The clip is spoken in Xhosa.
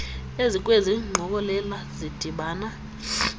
ezikwezi ngqokelela zidibana